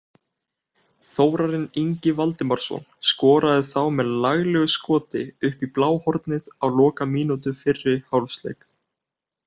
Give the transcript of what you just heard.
Þórarinn Ingi Valdimarsson skoraði þá með laglegu skoti upp í bláhornið á lokamínútu fyrri hálfleiks.